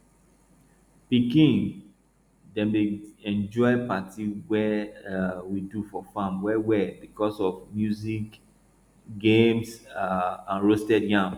pikin dem dey enjoy party wey um we do for farm well well because of music game um and roasted yam